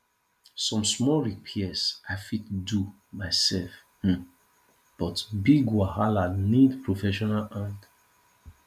some small repairs i fit do myself um but big wahala need professional hand